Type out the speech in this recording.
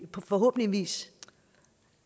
forhåbentligvis